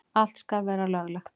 Allt skal vera löglegt.